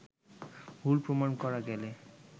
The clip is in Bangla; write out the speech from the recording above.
ভুল প্রমাণ করা গেলে